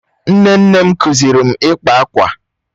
Nne nne m kụziiri m ịkpa akwa.